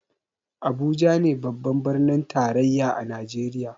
Abuja ne birnin tarayya a najeriya